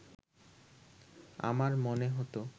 আমার মনে হত